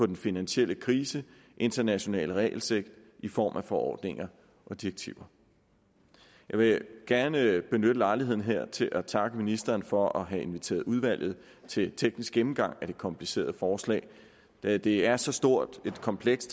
den finansielle krise internationale regelsæt i form af forordninger og tilsyn jeg vil gerne benytte lejligheden her til at takke ministeren for at have inviteret udvalget til teknisk gennemgang af det komplicerede forslag da det er så stort et kompleks